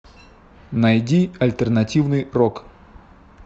найди альтернативный рок